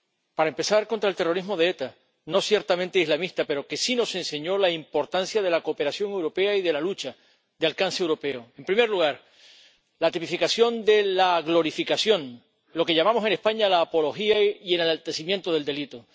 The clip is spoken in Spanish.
Para empezar, contra el terrorismo de ETA, ciertamente no islamista, pero que sí nos enseñó la importancia de la cooperación europea y de la lucha de alcance europeo. En primer lugar, la tipificación de la glorificación, lo que llamamos en España la apología y el enaltecimiento del delito.